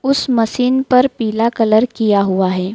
उस मशीन पर पीला कलर किया हुआ है।